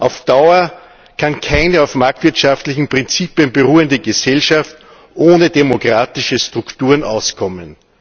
Auf Dauer kann keine auf marktwirtschaftlichen Prinzipien beruhende Gesellschaft ohne demokratische Strukturen auskommen.